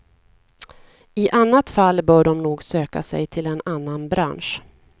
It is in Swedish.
I annat fall bör de nog söka sig till en annan bransch.